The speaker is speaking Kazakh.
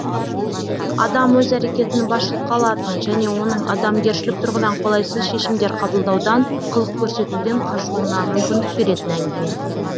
адам өз әрекетін басшылыққа алатын және оның адамгершілік тұрғыдан қолайсыз шешімдер қабылдаудан қылық көрсетуден қашуына мүмкіндік беретін әңгіме